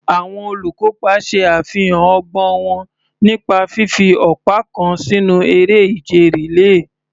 Àwọn olùkópa ṣe àfihàn ọgbọ́n wọn nípa fífi ọ̀pá kan sínú eré ìje rìléè.